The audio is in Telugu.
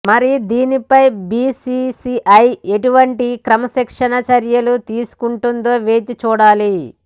మరి దీనిపై బీసీసీఐ ఎటువంటి క్రమశిక్షణా చర్యలు తీసుకుంటుందో వేచి చూడాలి